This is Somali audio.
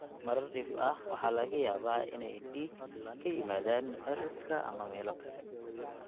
Marar dhif ah, waxaa laga yaabaa inay dhiig ka yimaadaan cirridka ama meelo kale.